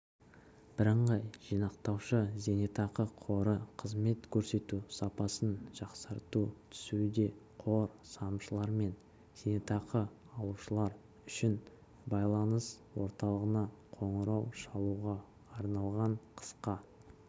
бірыңғай жинақтаушы зейнетақы қоры қызмет көрсету сапасын жақсарту түсуде қор салымшылар мен зейнетақы алушылар үшін байланыс орталығына қоңырау шалуға арналған қысқа